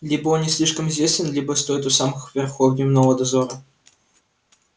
либо он не слишком известен либо стоит у самых верхов дневного дозора